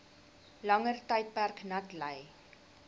langer tydperk natlei